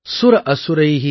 भाव अनुसारेण सदा नराणाम् ||